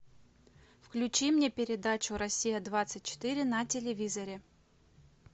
включи мне передачу россия двадцать четыре на телевизоре